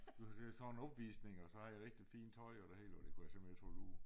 Skulle til sådan en opvisning og så havde jeg rigtig fint tøj og det hele og det kunne jeg simpelthen ikke holde ud